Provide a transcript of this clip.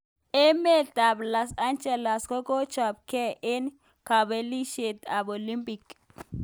Emet ab Los angeles kochopekei eng kabelishet ab Olimpik.